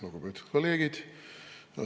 Lugupeetud kolleegid!